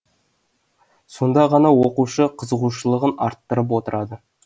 сонда ғана оқушы қызығушылығын арттырып отырады